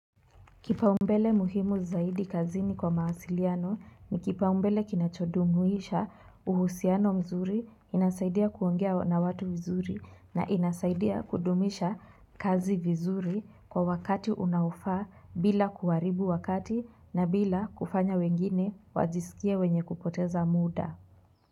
Kipaumbele muhimu zaidi kazini kwa mawasiliano ni kipaumbele kinachodumuisha uhusiano mzuri inasaidia kuongea na watu vizuri na inasaidia kudumisha kazi vizuri kwa wakati unaofaa bila kuharibu wakati na bila kufanya wengine wajisikie wenye kupoteza muda.